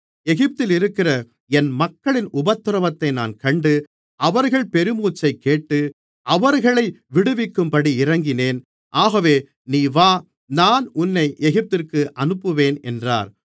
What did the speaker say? எகிப்திலிருக்கிற என் மக்களின் உபத்திரவத்தை நான் கண்டு அவர்கள் பெருமூச்சைக்கேட்டு அவர்களை விடுவிக்கும்படி இறங்கினேன் ஆகவே நீ வா நான் உன்னை எகிப்திற்கு அனுப்புவேன் என்றார்